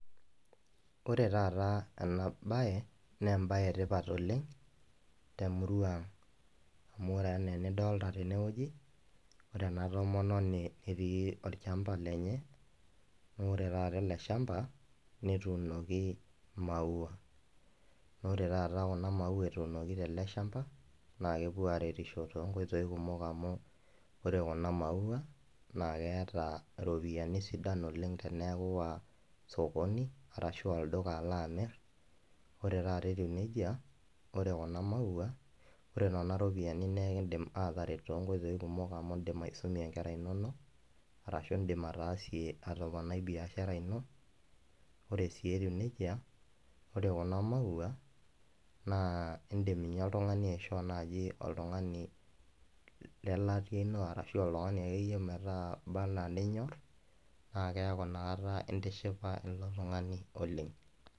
Ore taataa enabaye neembaye etipat oleng' temuruang'. Amu ore anaa enidolta tenewueji ore ena tomononi etii olchamba lenye noore taata ele shamba netuunoki imaua. Naore taata kuna maua etuunoki teleshamba naakepuoaretisho tonkoitoi kumok amu ore kuna  maua naakeeta iropiyani sidan oleng' teneaku iiwa sokoni arashu iwa olduka aloamirr. Ore taata etiu neija ore kuna maua ore nena ropiani naaikindim aataret tonkoitoi kumok amu indim aisumie inkera inonok arashu indim ataasie atoponai biashara ino, ore sii etiu neija ore kuna maua naa indim ninye oltung'ani aishoo naji oltung'ani lelatia ino arashu oltung'ani akeyie meeta imba anaa ninyorr naakeaku nakata intishipa ilo tung'ani oleng'.